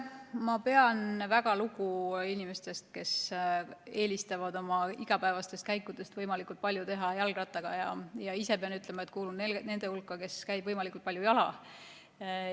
Ma pean väga lugu inimestest, kes eelistavad oma igapäevaseid käike võimalikult palju teha jalgrattaga, ja ma ise pean ütlema, et kuulun nende hulka, kes käivad võimalikult palju jala.